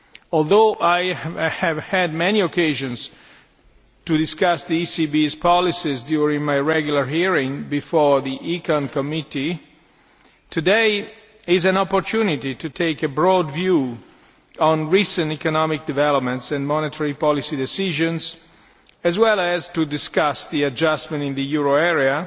Although I have had many opportunities to discuss the ECB's policies during my regular hearings before the Committee on Economic and Monetary Affairs today is an opportunity to take a broad view on recent economic developments and monetary policy decisions, as well as to discuss the adjustment in the euro area